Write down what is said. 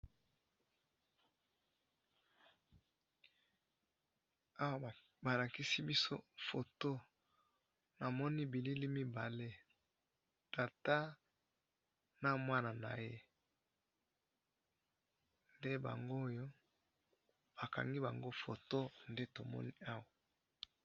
Awa ba lasiki biso photo, namoni bilili mibale, tata na mwana naye, nde bangoyo ba kangi bango photo nde tomoni awa